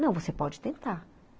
Não, você pode tentar.